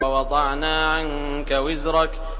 وَوَضَعْنَا عَنكَ وِزْرَكَ